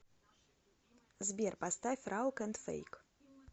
сбер поставь раук энд фейк